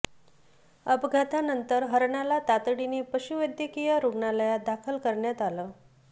अपघातानंतर हरणाला तातडीनं पशूवैद्यकीय रुग्णालयात दाखल करण्यात आलं